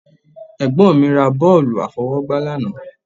Ẹ̀gbọ́n mi ra bọ́ọ̀lù àfọwọ́jù lánàá